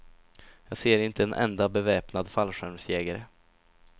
Jag ser inte en enda beväpnad fallskärmsjägare.